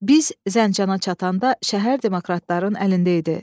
Biz Zəncana çatanda şəhər demokratların əlində idi.